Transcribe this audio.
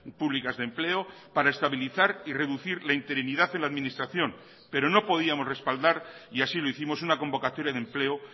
públicas de empleo para estabilizar y reducir la interinidad en la administración pero no podíamos respaldar y así lo hicimos una convocatoria de empleo